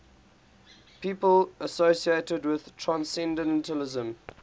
people associated with transcendentalism